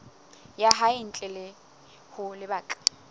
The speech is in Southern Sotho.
ya hae ntle ho lebaka